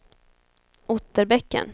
Otterbäcken